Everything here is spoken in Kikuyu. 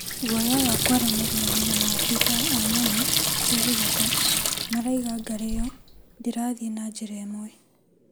Guoya wa kũaranĩria maabithaa a nyamũ cia gĩthaka maraiga ngarĩ ĩyo ndĩrathiĩ na njĩra ĩmwe.